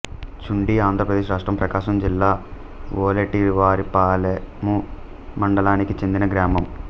చుండి ఆంధ్రప్రదేశ్ రాష్ట్రం ప్రకాశం జిల్లా వోలేటివారిపాలెము మండలానికి చెందిన గ్రామం